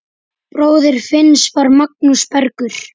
Bróðir Finns var Magnús Bergur.